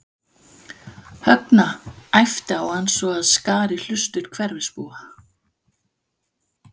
Högna, æpti á hann svo að skar í hlustir hverfisbúa.